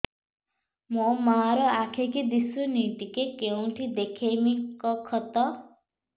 ମୋ ମା ର ଆଖି କି ଦିସୁନି ଟିକେ କେଉଁଠି ଦେଖେଇମି କଖତ